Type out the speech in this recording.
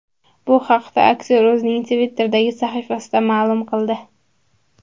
Bu haqda aktyor o‘zining Twitter’dagi sahifasida ma’lum qildi .